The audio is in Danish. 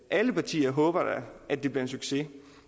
alle partier håber da at det bliver en succes